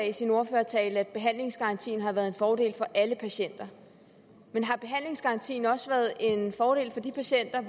i sin ordførertale at behandlingsgarantien har været en fordel for alle patienter men har behandlingsgarantien også været en fordel for de patienter